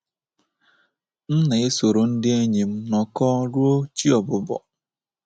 M na-esoro ndị enyi m nọkọọ ruo chi ọbụbọ.